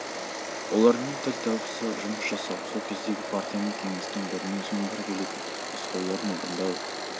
олармен тіл табыса жұмыс жасау сол кездегі партия мен кеңестің бірінен соң бірі келетін нұсқауларын орындау